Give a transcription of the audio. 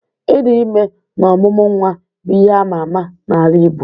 Ịdị ime na ọmụmụ nwa bụ ihe ama ama n'ala igbo.